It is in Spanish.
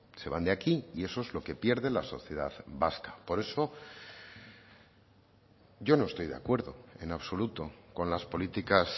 se van de aquí y eso es lo que pierde la sociedad vasca por eso yo no estoy de acuerdo en absoluto con las políticas